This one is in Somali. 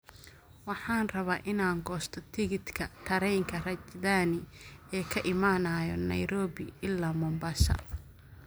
Waxaan rabaa inaan goosto tigidhka tareenka rajdhani ee ka imanaya nairobi ilaa mombasa